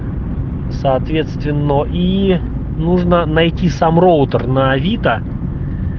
соответственно и нужно найти сам роутер на авито